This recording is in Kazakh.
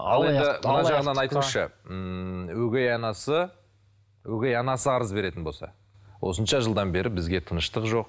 ал енді мына жағынан айтыңызшы ммм өгей анасы өгей анасы арыз беретін болса осынша жылдан бері бізге тыныштық жоқ